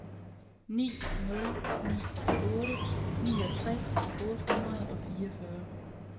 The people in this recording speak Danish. ni nul ni otte niogtres otte hundrede og fireogfyrre